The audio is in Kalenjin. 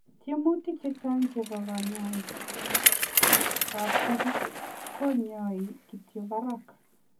Tiemutik chechang chepoo kanyaik ap metit konyai kityo parak.